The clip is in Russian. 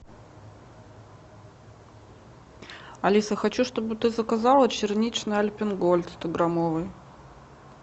алиса хочу чтобы ты заказала черничный альпен гольд стограммовый